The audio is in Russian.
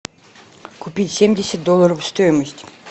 купить семьдесят долларов стоимость